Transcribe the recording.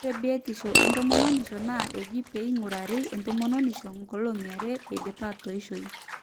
ore biotishu etomononishu naa eji pee eing'urari entomononi nkolong'i are eidipa atoisho